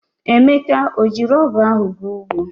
Emeka o jiri ogu ahu ga ugbo?